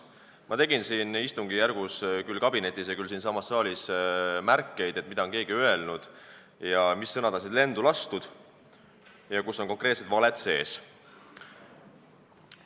Ma tegin istungi käigus küll kabinetis ja küll siinsamas saalis märkmeid, mida keegi on öelnud, mis sõnad on siin lendu lastud ja kus on konkreetsed valed sees.